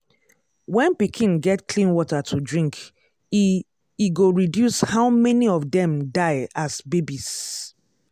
when pikin get clean water to drink e e go reduce how many of dem die as babies.